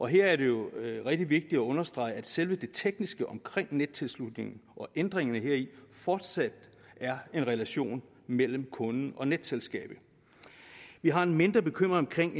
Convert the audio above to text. her er det jo rigtig vigtigt at understrege at selve det tekniske omkring nettilslutningen og ændringerne heri fortsat er en relation mellem kunden og netselskaberne vi har en mindre bekymring